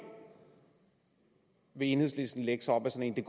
vil enhedslisten lægge sig op ad en